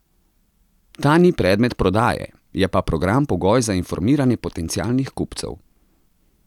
Ta ni predmet prodaje, je pa program pogoj za informiranje potencialnih kupcev.